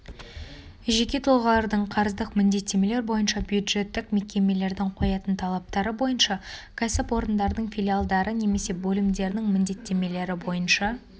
жеке тұлғалардың қарыздық міндеттемелер бойынша бюджеттік мекемелердің қоятын талаптары бойынша кәсіпорындардың филиалдары немесе бөлімдерінің міндеттемелері бойынша